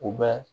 U bɛ